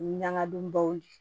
Ɲagadon baw de